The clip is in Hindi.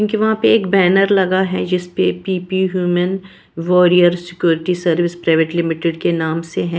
क्योंकि वहां पे एक बैनर लगा है जिस पे P P human warrior security service private limited के नाम से है।